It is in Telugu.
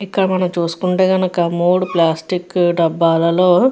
ఇక్కడ మనం చూసుకుంటే గనుక మూడు ప్లాస్టిక్ డబల్లలో --